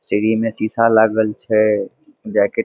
सीढ़ी में शीशा लागल छै जैकेट --